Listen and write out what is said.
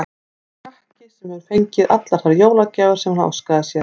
Eins og krakki, sem hefur fengið allar þær jólagjafir sem hann óskaði sér.